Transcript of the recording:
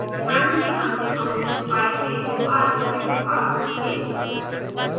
ध्यान दें हमने फंक्शन pie में दो आर्ग्युमेंट्स पास किए